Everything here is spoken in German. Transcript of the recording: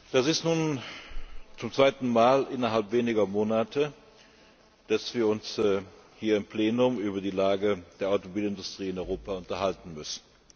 Das ist nun das zweite Mal innerhalb weniger Monate, dass wir uns hier im Plenum über die Lage der Automobilindustrie in Europa unterhalten müssen.